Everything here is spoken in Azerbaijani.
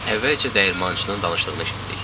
Əvvəlcə dəyirmançının danışdığını eşitdik.